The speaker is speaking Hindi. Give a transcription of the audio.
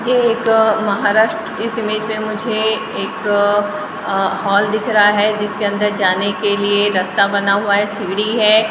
ये एक महाराष्ट्र इस इमेज में मुझे एक अ हॉल दिख रहा है जिसके अंदर जाने के लिए रास्ता बना हुआ है सीढ़ी है ।